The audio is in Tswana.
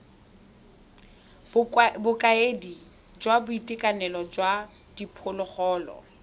bokaedi jwa boitekanelo jwa diphologolo